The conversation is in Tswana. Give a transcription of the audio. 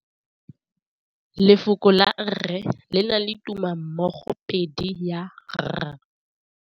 Lefoko la rre, le na le tumammogôpedi ya, r.